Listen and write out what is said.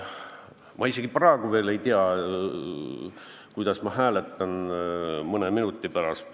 Ma isegi ei tea praegu, kuidas ma hääletan mõne minuti pärast.